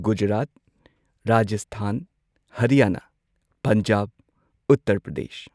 Gujarat Rajasthan Haryana Punjab Uttar Pradesh